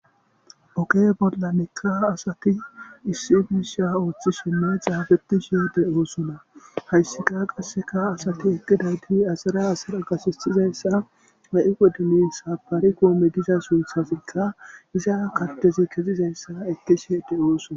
oge bolla nekka asati issi biisha ooththi sonne xaabeti shiyede oosona hayssika qasseka asati eqgidadi asara asara gasisizayssa ma7i wedinin sapaari koome giza sunthasikka iza kattezi kezizayssa ekkishiede oosona